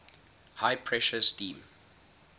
high pressure steam